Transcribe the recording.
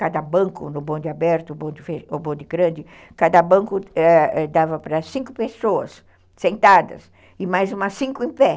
Cada banco, no bonde aberto ou bonde grande, cada banco eh dava para cinco pessoas sentadas e mais umas cinco em pé.